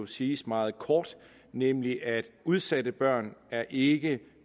siges meget kort nemlig at udsatte børn ikke